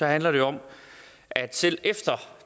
handler det om at selv efter